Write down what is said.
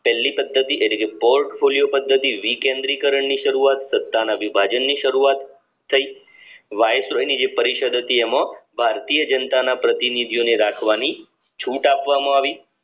પેલી પદ્ધતિ એટલે કે portpholiyo પદ્ધતિ રીકેન્દ્રીકરણ ની શરૂઆત સત્તા ના વિભાજન ની શરૂવાત થઈ વાઇસરોય ની જે પરિષદ હતી એમાં ભારતીય જનતાના પ્રતિનિધિઓને રાખવાની છૂટ આપવામાં આવી